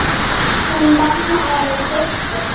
Hún og mamma eru systur.